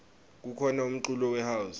kukhona umculo we house